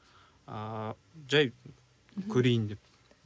ыыы жай көрейін деп